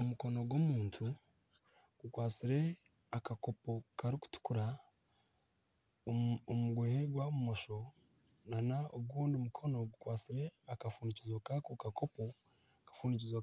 Omukono gw'omuntu gukwatsire akakopo karikutukura omu gwa bumosho na ogundi mukono gukwatsire akafundikizo kaako kakopo